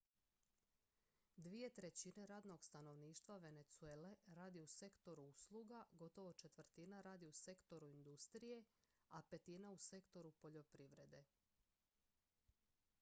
dvije trećine radnog stanovništva venezuele radi u sektoru usluga gotovo četvrtina radi u sektoru industrije a petina u sektoru poljoprivrede